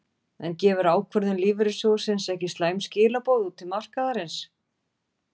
En gefur ákvörðun lífeyrissjóðsins ekki slæm skilaboð út til markaðarins?